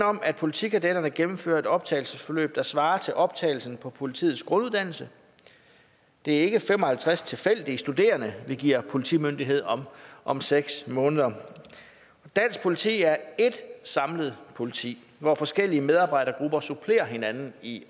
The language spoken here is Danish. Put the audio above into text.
om at politikadetterne gennemførte et optagelsesforløb der svarer til optagelsen på politiets grunduddannelse det er ikke fem og halvtreds tilfældige studerende vi giver politimyndighed om om seks måneder dansk politi er et samlet politi hvor forskellige medarbejdergrupper supplerer hinanden i